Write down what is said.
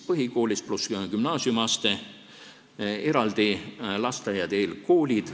On neli kooliastet , eraldi on lasteaiad ja eelkoolid.